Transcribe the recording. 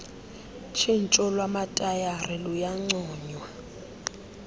tshintsho lwamatayara luyancoywa